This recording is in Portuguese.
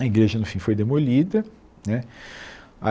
A igreja, no fim, foi demolida, né. A